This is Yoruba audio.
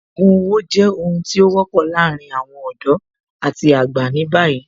Ògùn owó jẹ́ ohun tí ó wọ́pọ̀ láàárín àwọn ọ̀dọ́ àti àgbà ní báyìí